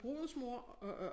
Brudens mor og og